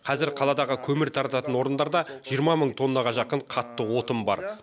қазір қаладағы көмір тарататын орындарда жиырма мың тоннаға жақын қатты отын бар